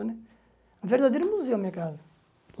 É um verdadeiro museu a minha casa.